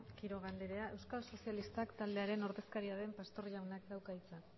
quiroga andrea euskal sozialistak taldearen ordezkaria den pastor jaunak dauka hitza